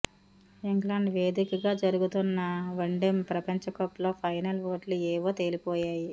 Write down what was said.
England వేదికగా జరుగుతున్న one day ప్రపంచకప్లో ఫైనల్ జట్లు ఏవో తేలిపోయాయి